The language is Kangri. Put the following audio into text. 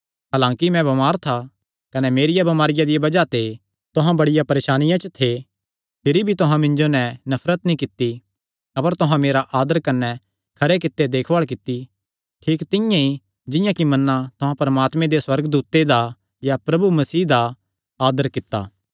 हलांकि मैं बमार था कने मेरिया बमारिया दिया बज़ाह ते तुहां बड़िया परेसानिया थे भिरी भी तुहां मिन्जो नैं नफरत नीं कित्ती अपर तुहां मेरा आदर कने खरे कित्ते देखभाल कित्ती ठीक तिंआं ई जिंआं कि मन्ना तुहां परमात्मे दे सुअर्गदूते दा या प्रभु यीशु मसीह दा आदर कित्ता